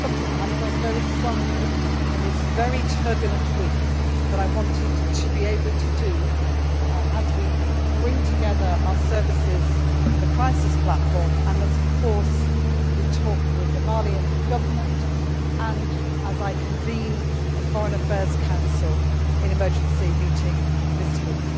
This is something I felt very strongly, in this very turbulent week, that I wanted to be able to do as we bring together our services and the crisis platform, and of course as we talk with the Malian Government and I convene the Foreign Affairs Council for an emergency meeting this week.